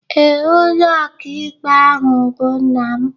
Ee, Onye okaikpe ahụ bụ nna m